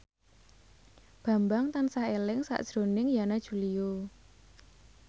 Bambang tansah eling sakjroning Yana Julio